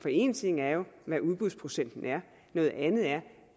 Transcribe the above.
for én ting er jo hvad udbudsprocenten er noget andet er